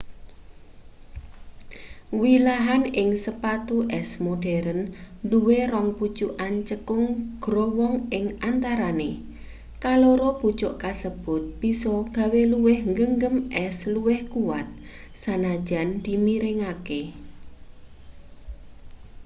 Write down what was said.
wilahan ing sepatu es modheren duwe rong pucukan cekung growong ing antarane kaloro pucuk kasebut bisa gawe luwih nggegem es luwih kuwat sanajan dimiringake